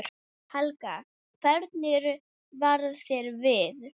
Helga: Hvernig varð þér við?